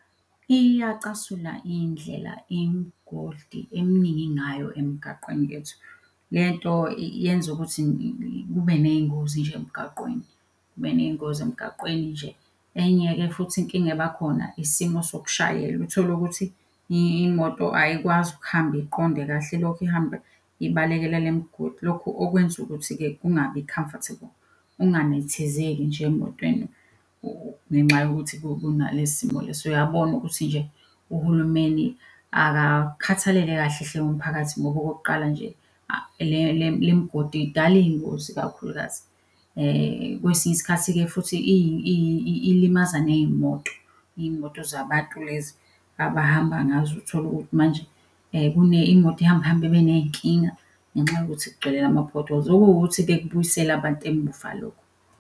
Iyacasula indlela imigodi eminingi ngayo emgaqweni yethu. Lento yenza ukuthi kube ney'ngozi nje emgaqweni, kube ney'ngozi emgaqweni nje. Enye-ke futhi inkinga ebakhona isimo sokushayela utholukuthi imoto ayikwazi ukuhamba iqonde kahle, ilokhu ihamba ibalekela le mgodi lokhu okwenza ukuthi-ke kungabi comfortable. Unganethezeki nje emotweni ngenxa yokuthi kunalesi simo leso uyabona ukuthi nje uhulumeni akakhathalele kahle hle umphakathi ngoba okokuqala nje le migodi idala iy'ngozi ikakhulukazi. Kwesinye isikhathi-ke futhi ilimaza ney'moto, iy'moto zabantu lezi abahamba ngazo utholukuthi manje imoto ihamba ihambe ibe ney'nkinga ngenxa yokuthi kugcwele lama-potholes. Okuwukuthi-ke kubuyisela abantu emuva lokhu.